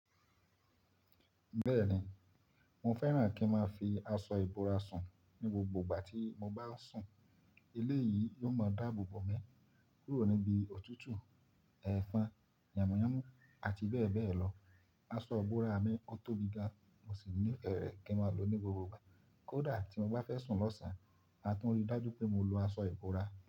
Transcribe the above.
Bẹ́ẹ̀ni, mo fẹ́ràn kí n máa fi aṣọ ìbora sùn ní gbogbo ìgbà tí mo bá n sùn. Ilé yìí yóò máa dáàbò bò mí kúrò níbi òtútù, ẹ̀fọn, ìyàmúyànmú àti bẹ́ẹ̀ bẹ́ẹ̀ lọ. Aṣọ ìbora mi o tóbi gan, mo sì ní ìfẹ́ rẹ̀ kí n máa lòó ní gbogbo ìgbà. Kódà tí mo bá fẹ́ sùn lọ́ṣàn, a tún rí dájú pé mo lo aṣọ ìbora.